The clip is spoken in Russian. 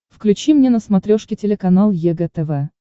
включи мне на смотрешке телеканал егэ тв